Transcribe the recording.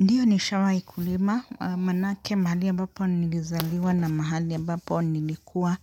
Ndio ni shawai kulima manake mahali ambapo nilizaliwa na mahali ambapo nilikuwa